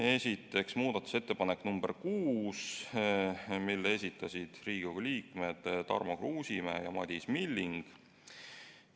Esiteks, muudatusettepanek nr 6, mille esitasid Riigikogu liikmed Tarmo Kruusimäe ja Madis Milling.